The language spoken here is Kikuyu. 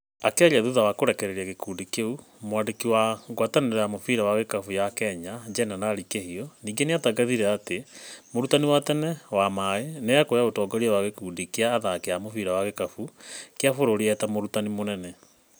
Akĩaria thutha wa kũrekereria gĩkũndi kĩũ mwandĩki wa ngwatanĩro ya mũbira wa gĩkabũ ya Kenya Jenerari Kĩhiũ ningĩ nĩatangathire atĩ mũrutani wa tene Wamaĩ nĩ ekuoya utongoria wa gĩkundi kĩa athaki a mubira wa gĩkabũ kĩa bũrũri eta mũrutani mũnene.